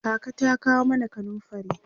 kaka ta kawo mana kanumfari